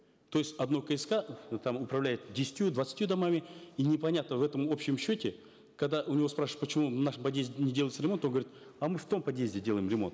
то есть одно кск там управляет десятью двадцатью домами и непонятно в этом общем счете когда у него спрашиваешь почему в нашем подъезде не делается ремонт он говорит а мы в том подъезде делаем ремонт